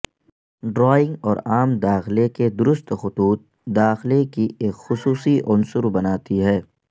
drawing اور عام داخلہ کے درست خطوط داخلہ کی ایک خصوصی عنصر بناتی ہے